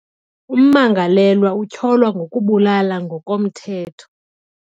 Ummangalelwa utyholwa ngokubulala ngokomthetho.